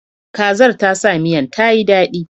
Kazar ta sa miyan ta yi daɗi.